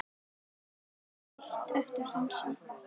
Er ykkur heitt eftir dansinn?